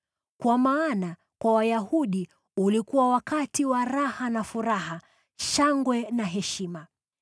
Kwa maana kwa Wayahudi ulikuwa wakati wa raha na furaha, shangwe na heshima.